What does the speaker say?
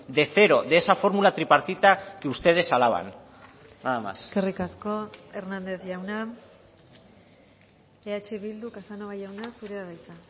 de cero de esa fórmula tripartita que ustedes alaban eskerrik asko hernández jauna eh bildu casanova jauna zurea da hitza